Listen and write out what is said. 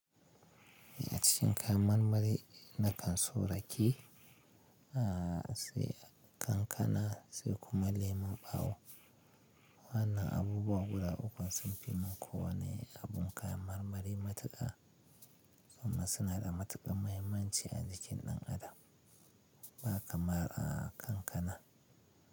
A cikin kayan marmari nakan so raƙe, sai kankana sai kuma lemon ɓawo. Wannan abubuwa guda ukun sun fi min ko wane abun kayan marmari matuƙa, amma suna da matuƙar mahimmanci a jikin ɗan adam. Ba kamar a kankana.